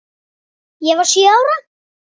Ég var sjö ára.